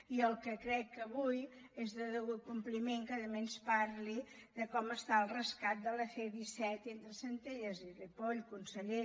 i el que crec és que avui és de degut compliment que també ens parli de com està el rescat de la c disset entre centelles i ripoll conseller